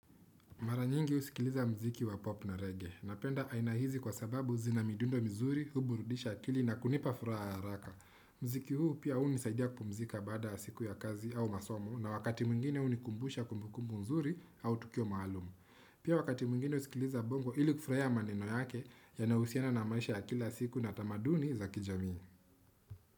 Mara nyingi husikiliza mziki wa pop na reggae. Napenda aina hizi kwa sababu zina midundo mzuri, huburudisha akili na kunipa furaha ya haraka. Mziki huu pia hunisaidia kupumzika baada siku ya kazi au masomo na wakati mwingine hunikumbusha kumbu kumbu nzuri au tukio maalumu. Pia wakati mwingine husikiliza bongo ili kufurahia maneno yake yanayohusiana na maisha ya kila siku na tamaduni za kijamii.